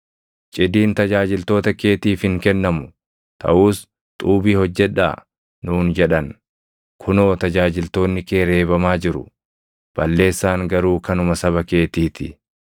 Cidiin tajaajiltoota keetiif hin kennamu; taʼus, ‘Xuubii hojjedhaa!’ nuun jedhan. Kunoo tajaajiltoonni kee reebamaa jiru; balleessaan garuu kanuma saba keetii ti.”